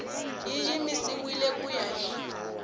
yi yimisiwile ku ya hi